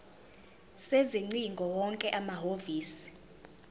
sezingcingo wonke amahhovisi